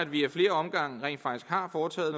vi ad flere omgange rent faktisk har foretaget